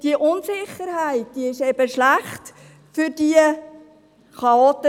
Diese Unsicherheit ist schlecht für diese Chaoten.